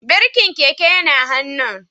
Birkin keke yana hannun